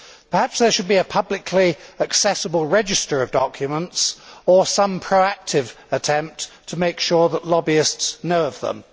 Perhaps there should be a publicly accessible register of documents, or some proactive attempt to make sure that lobbyists know of them.